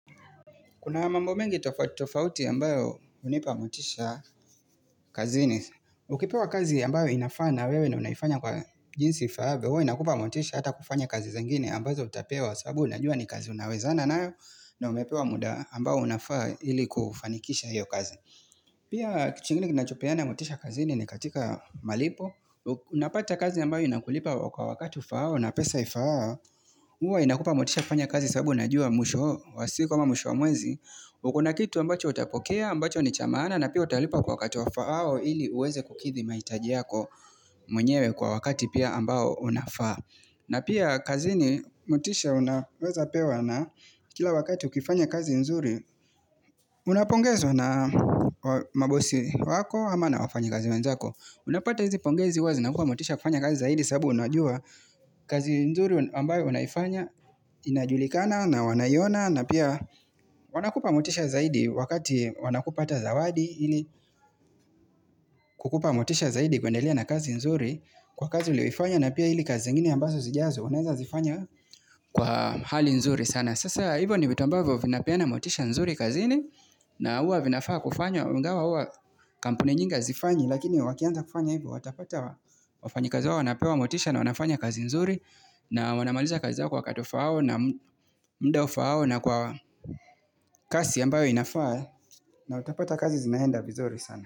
Kuna mambo mengi tofauti ambayo hunipa motisha kazini. Ukipewa kazi ambayo inafaa na wewe na unaifanya kwa jinsi ifaavyo. Huwa inakupa motisha hata kufanya kazi zingine ambazo utapewa sababu unajua ni kazi unawezana na wewe na umepewa muda ambayo unafaa ili kufanikisha hiyo kazi. Pia kitu kingine kinachopeana motisha kazini ni katika malipo. Unapata kazi ambayo inakulipa kwa wakati ufao na pesa ifaao. Huwa inakupa motisha kufanya kazi sababu unajua mwisho wa siku ama mwisho wa mwezi. Uko na kitu ambacho utapokea, ambacho ni cha maana na pia utalipa kwa wakati wafaao ili uweze kukithi mahitaji yako mwenyewe kwa wakati pia ambao unafaa na pia kazini motisha unaweza pewa na kila wakati ukifanya kazi nzuri Unapongezwa na mabosi wako ama na wafanya kazi wenzako Unapata hizi pongezi huwa zinakua motisha kufanya kazi zaidi sababu unajua kazi nzuri ambayo unaifanya inajulikana na wanaiona na pia wanakupa motisha zaidi wakati wanakupatia zawadi ili kukupa motisha zaidi kuendelea na kazi nzuri kwa kazi uliyoifanya na pia ili kazi zingine ambazo zijazo unaeza zifanya kwa hali nzuri sana sasa hivyo ni vitu ambavyo vinapeana motisha nzuri kazini na huwa vinafaa kufanya ingawa huwa kampuni nyingi hazifanyi lakini wakianza kufanya hivyo watapata wafanyi kazi wao wanapewa motisha na wanafanya kazi nzuri na wanamaliza kazi zao kwa wakati ufaao na myda ufaao na kwa kasi ambayo inafaa na utapata kazi zinaenda vizuri sana.